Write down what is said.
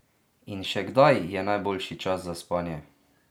In še kdaj je najboljši čas za spanje?